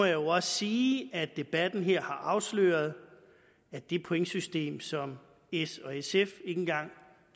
jo også sige at debatten her har afsløret at det pointsystem som s og sf ikke engang